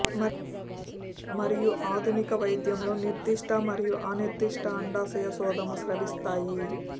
మరియు ఆధునిక వైద్యంలో నిర్దిష్ట మరియు అనిర్దిష్ట అండాశయ శోధము స్రవిస్తాయి